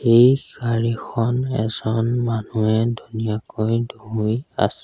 এই চাৰিখন এজন মানুহে ধুনীয়াকৈ ধুই আছে।